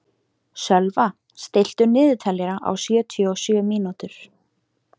Sölva, stilltu niðurteljara á sjötíu og sjö mínútur.